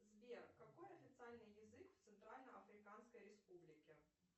сбер какой официальный язык в центральной африканской республике